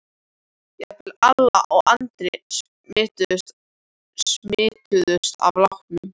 Jafnvel Alla og Andri smituðust af látunum.